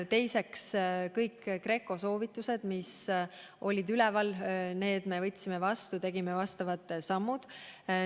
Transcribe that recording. Teiseks, kõik GRECO soovitused, mis olid üleval, me võtsime vastu, tegime vastavad sammud.